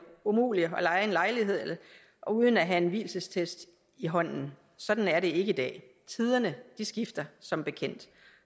umuligt at leje en lejlighed uden at have en vielsesattest i hånden sådan er det ikke i dag tiderne skifter som bekendt